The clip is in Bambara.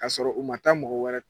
K'a sɔrɔ u ma taa mɔgɔ wɛrɛ